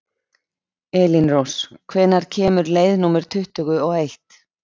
Elínrós, hvenær kemur leið númer tuttugu og eitt?